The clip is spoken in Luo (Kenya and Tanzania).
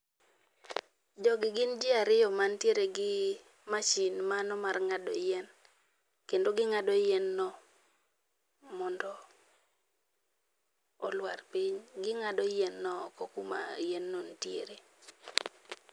Jogi gin jii ariyo mantiere gi mashin mano mar ngado yien kendo gingado yien no mondo olwar piny, gingado yien no oko kuma yien no nitiere